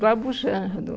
Do Abujamra, do...